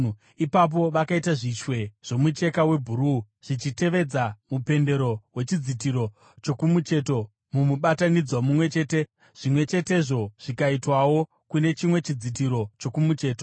Ipapo vakaita zvishwe zvomucheka webhuruu zvichitevedza mupendero wechidzitiro chokumucheto mumubatanidzwa mumwe chete, zvimwe chetezvo zvikaitwawo kune chimwe chidzitiro chokumucheto.